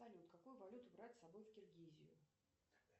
салют какую валюту брать с собой в киргизию